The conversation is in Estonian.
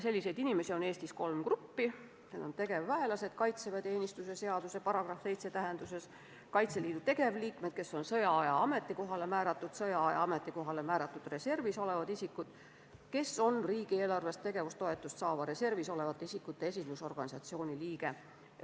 Selliseid inimesi on Eestis kolm gruppi: tegevväelased kaitseväeteenistuse seaduse § 7 tähenduses; Kaitseliidu tegevliikmed, kes on sõjaaja ametikohale määratud; sõjaaja ametikohale määratud reservis olevad isikud, kes on riigieelarvest tegevustoetust saava reservis olevate isikute esindusorganisatsiooni liikmed.